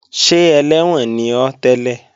Ṣé ẹlẹ́wọ̀n ni ọ́ tẹ́lẹ̀?